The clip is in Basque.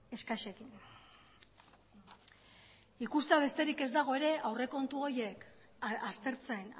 eskasekin ikustea besterik ez dago ere aurrekontu horiek aztertzen